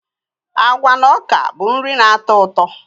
Agwa na ọka bụ nri na-atọ ụtọ.